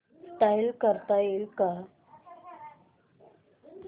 install करता येईल का